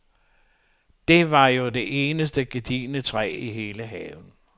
Det var jo det eneste gedigne træ i hele haven.